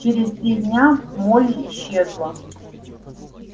через три дня молли исчезла